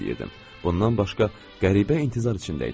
Bundan başqa, qəribə intizar içindəydim.